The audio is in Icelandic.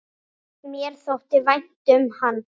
Mér þótti vænt um hann.